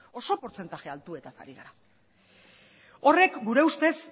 oso portzentaje altuetaz ari gara horrek gure ustez